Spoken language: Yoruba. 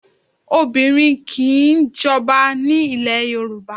Obìnrin o kì í jọba ní ilẹ̀ Yorùbá.